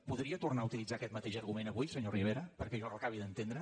podria tornar a utilitzar aquest mateix argument avui senyor rivera perquè jo l’acabi d’entendre